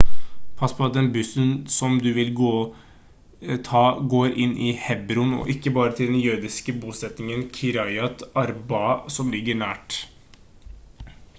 pass på at den bussen som du vil ta går inn i hebron og ikke bare til den jødiske bosetningen kiryat arba som ligger nært